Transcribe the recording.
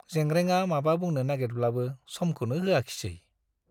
जेंग्रेंआ माबा बुंनो नागिरब्लाबो समखौनो होआखिसे।